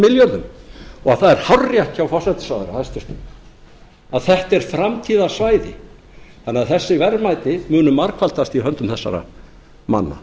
milljörðum og það er hárrétt hjá forsætisráðherra hæstvirtur að þetta er framtíðarsvæði þannig að þessi verðmæti munu margfaldast í höndum þessara manna